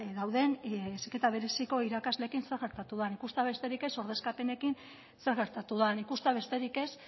dauden heziketa bereziko irakasleekin zer gertatu den ikusten besterik ez ordezkapenekin zer gertatu den ikustea besterik ez